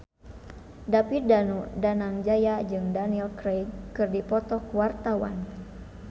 David Danu Danangjaya jeung Daniel Craig keur dipoto ku wartawan